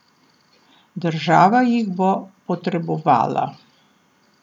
Država jih bo potrebovala!